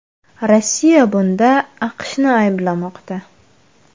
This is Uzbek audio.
Rossiya bunda AQShni ayblamoqda.